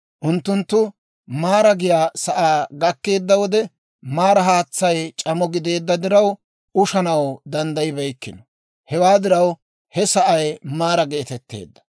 Unttunttu Maaraa giyaa sa'aa gakkeedda wode, Maaraa haatsay c'amo gideedda diraw, ushanaw danddayibeykkino; hewaa diraw, he sa'ay Maaraa geetetteedda.